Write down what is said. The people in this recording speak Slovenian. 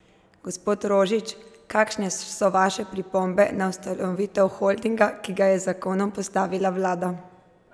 Gospod Rožič, kakšne so vaše pripombe na ustanovitev holdinga, ki ga je z zakonom postavila vlada?